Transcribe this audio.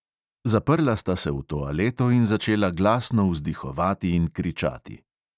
Zaprla sta se v toaleto in začela glasno vzdihovati in kričati.